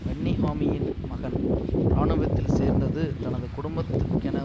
வன்னிஹாமியின் மகன் இராணுவத்தில் சேர்ந்தது தனது குடும்பத்துக்கென